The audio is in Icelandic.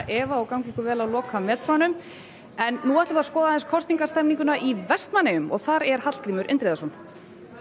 Eva og gangi ykkur vel á lokametrunum en nú skulum við skoða í Vestmannaeyjum og þar er Hallgrímur Indriðason